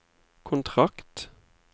kontrakt